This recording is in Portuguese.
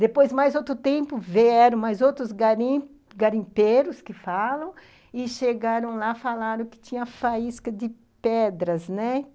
Depois, mais outro tempo, vieram mais outros garim garimpeiros que falam, e chegaram lá, falaram que tinha faísca de pedras, né?